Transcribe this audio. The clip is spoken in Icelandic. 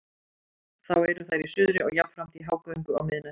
Þá eru þær í suðri og jafnframt í hágöngu á miðnætti.